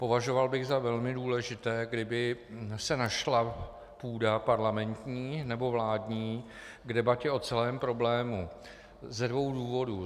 Považoval bych za velmi důležité, kdyby se našla půda parlamentní nebo vládní k debatě o celém problému - ze dvou důvodů.